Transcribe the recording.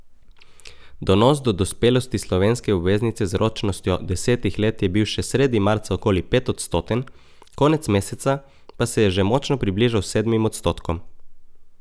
Donos do dospelosti slovenske obveznice z ročnostjo desetih let je bil še sredi marca okoli petodstoten, konec meseca pa se je že močno približal sedmim odstotkom.